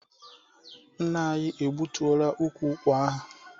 Nna anyị egbutuola ukwu ụkwa ahụ.